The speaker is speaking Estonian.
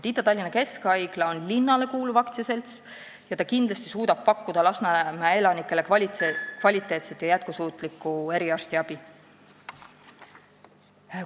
Ida-Tallinna Keskhaigla on linnale kuuluv aktsiaselts ja suudab kindlasti Lasnamäe elanikele kvaliteetset ja jätkusuutlikku eriarstiabi pakkuda.